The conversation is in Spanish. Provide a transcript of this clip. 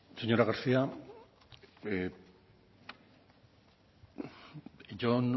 señora garcía a